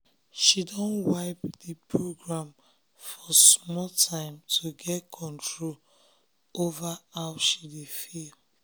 she don wipe the don wipe the program for small time to get control over how she dey feel